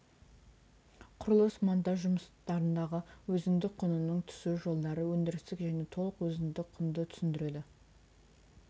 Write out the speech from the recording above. құрылыс монтаж жұмыстардағы өзіндік құнының түсу жолдары өндірістік және толық өзіндік құнды түсіндіреді